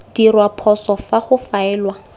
dirwa phoso fa go faelwa